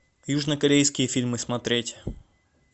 южнокорейские фильмы смотреть